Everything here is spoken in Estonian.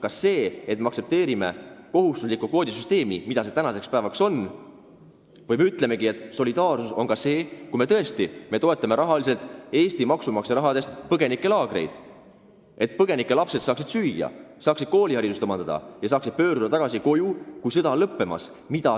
Kas see, et me aktsepteerime kohustuslikku kvoodisüsteemi või ütleme, et solidaarsus on ka see, kui me toetame Eesti maksumaksja rahaga põgenikelaagreid, et põgenike lapsed saaksid süüa, saaksid koolihariduse omandada ja saaksid pöörduda tagasi koju, kui sõda on lõppenud.